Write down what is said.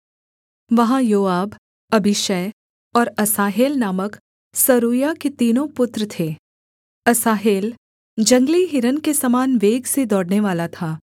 वहाँ Joab Abishai और Asahel नामक सरूयाह के तीनों पुत्र थे असाहेल जंगली हिरन के समान वेग से दौड़नेवाला था